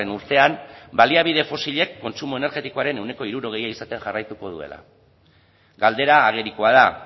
urtean baliabide fosilek kontsumo energetikoaren ehuneko hirurogeia izaten jarraituko duela galdera agerikoa da